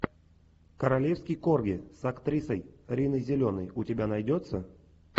королевский корги с актрисой риной зеленой у тебя найдется